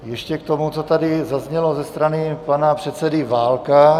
Ještě k tomu, co tady zaznělo ze strany pana předsedy Válka.